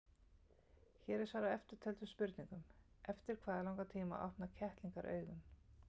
Hér er svarað eftirtöldum spurningum: Eftir hvað langan tíma opna kettlingar augun?